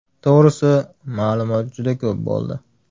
To‘g‘risi, ma’lumot juda ko‘p bo‘ldi.